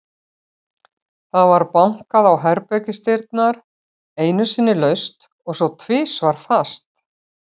Það var bankað á herbergisdyrnar, einu sinni laust og svo tvisvar fastar.